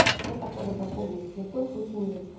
ну хотя бы до полдника ни в коем случае не вечером